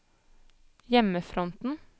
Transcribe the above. hjemmefronten